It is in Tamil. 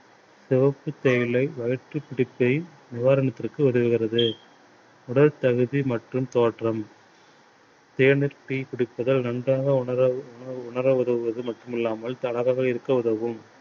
சிவப்புத் தேயிலை வயிற்று நிவாரணத்திற்கு உதவுகிறது. உடல் தகுதி மற்றும் தோற்றம். தேநீர் tea குடிப்பதால் நன்றாக உணர மட்டும்மில்லாமல் இருக்க உதவும்.